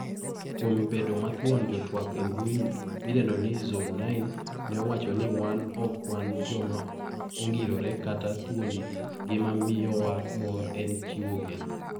Kuom bedo mathuon jotwak embui midendo ni Zone9 ne owacho ni wan ok wan joma ongirore kata thuondi ngima miyowa mor en chiwo geno.